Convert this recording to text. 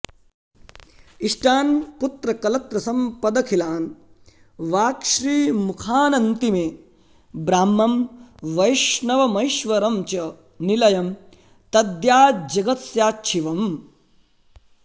इष्टान् पुत्रकलत्रसम्पदखिलान् वाक्श्रीमुखानन्तिमे ब्राह्मं वैष्णवमैश्वरं च निलयं दद्याज्जगत्स्याच्छिवम्